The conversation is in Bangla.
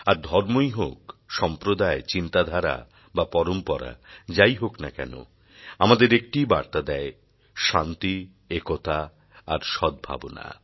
আর ধর্মই হোক সম্প্রদায় চিন্তাধারা বা পরম্পরা যাই হোক না কেন আমাদের একটিই বার্তা দেয় শান্তি একতা আর সদ্ ভাবনা